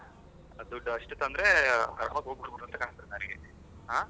ದುಡ್ ಅಷ್ಟು ತಂದ್ರೆ ಹೋಗ್ಬರಬಹುದು ಅಂತ ಕಾಂತಾದೇ ನನಗೆ ಹಾ.